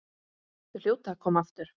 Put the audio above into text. Þau hljóta að koma aftur.